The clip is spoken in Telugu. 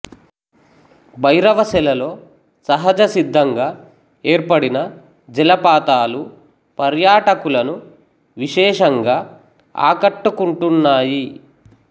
భైరవ సెలలో సహజసిద్ధంగా ఏర్పడిన జలపాతాలు పర్యాటకులను విశేషంగా ఆకట్టుకుంటున్నాయి